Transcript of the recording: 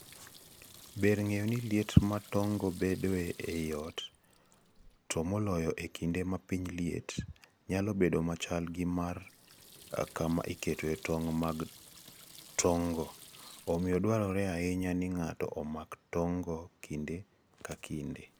Ber ng'eyo ni liet ma tong'go bedoe ei ot, to moloyo e kinde ma piny liet, nyalo bedo machal gi mar kama iketoe tong' mag tong'go, omiyo dwarore ahinya ni ng'ato omak tong'go kinde ka kinde.